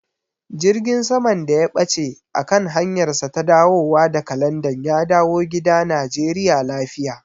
Jirgin saman da ya ɓace a kan hanyarsa ta dawowa daga Landan ya dawo gida Najeriya lafiya.